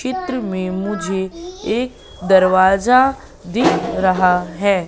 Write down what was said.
चित्र में मुझे एक दरवाजा दिख रहा है।